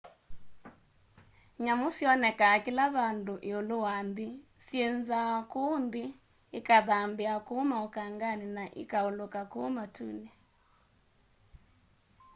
nyamu syonekaa kila vandu iulu wanthi syinzaa ku nthi ikathambia ku maukangani na ikauluka kuu matuni